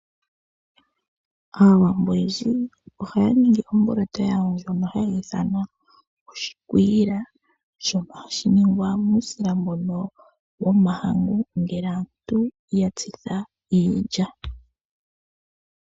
Aawambo oyendji ohaya ningi omboloto yawo ndjono haya ithana oshikwiila, shono hashi ningwa muusila mbono womahangu, ngele aantu ya tsitha iilya.